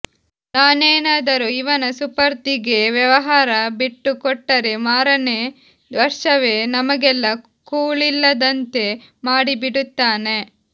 ನಾನೇನಾದರೂ ಇವನ ಸುಪರ್ದಿಗೆ ವ್ಯವಹಾರ ಬಿಟ್ಟು ಕೊಟ್ಟರೆ ಮಾರನೇ ವರ್ಷವೇ ನಮಗೆಲ್ಲ ಕೂಳಿಲ್ಲದಂತೆ ಮಾಡಿಬಿಡುತ್ತಾನೆ